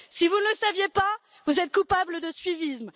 Si vous ne le saviez pas, vous êtes coupables de suivisme.